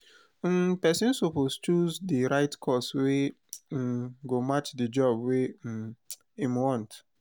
um persin suppose choose di right course wey um go match di job wey im im want